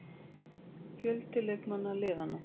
Fjöldi leikmanna liðanna: